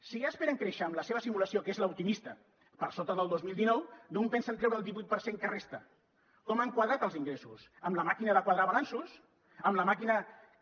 si ja esperen créixer amb la seva simulació que és l’optimista per sota del dos mil dinou d’on pensen treure el divuit per cent que resta com han quadrat els ingressos amb la màquina de quadrar balanços amb la màquina que